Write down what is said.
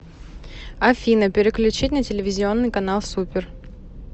афина переключить на телевизионный канал супер